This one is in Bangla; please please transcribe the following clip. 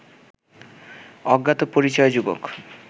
অজ্ঞাত পরিচয় যুবক